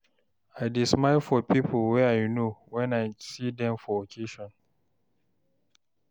I dey smile for pipo wey I know wen I see dem for occasion.